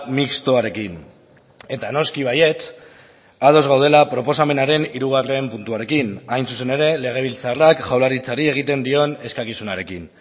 mistoarekin eta noski baietz ados gaudela proposamenaren hirugarren puntuarekin hain zuzen ere legebiltzarrak jaurlaritzari egiten dion eskakizunarekin